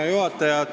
Hea juhataja!